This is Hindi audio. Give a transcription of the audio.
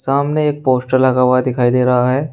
सामने एक पोस्टर लगा हुआ दिखाई दे रहा है।